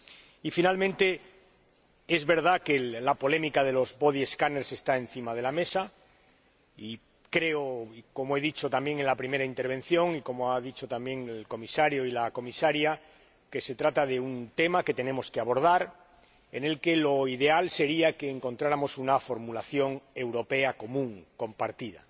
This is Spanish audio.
Y, por último, es verdad que la polémica de los escáneres corporales está encima de la mesa, y, creo, como he dicho en la primera intervención y como han dicho también el Comisario y la Comisaria, que se trata de un tema que tenemos que abordar y lo ideal sería que encontráramos una formulación europea común compartida.